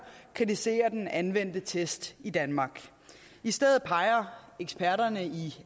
kritiserer den anvendte test i danmark i stedet peger eksperterne i